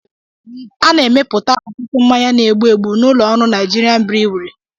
A na-emepụta ọtụtụ mmanya na-egbu egbu n'ụlọ ọrụ Naịjirịan brịwi